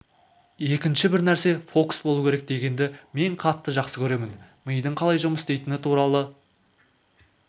екінші бір нәрсе фокус болу керек дегенді мен қатты жақсы көремін мидың қалай жұмыс істейтіні туралы